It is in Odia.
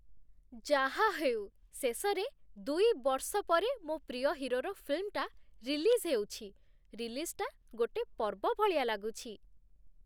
ଯାହା ହେଉ ଶେଷରେ, ଦୁଇ ବର୍ଷ ପରେ, ମୋ' ପ୍ରିୟ ହିରୋର ଫିଲ୍ମଟା ରିଲିଜ୍ ହେଉଛି, ରିଲିଜ୍‌ଟା ଗୋଟେ ପର୍ବ ଭଳିଆ ଲାଗୁଛି ।